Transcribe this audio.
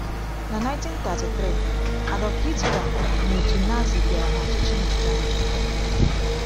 Na 1933, Adolf Hitler na otu Nazi bịara n’ọchịchị na Germany.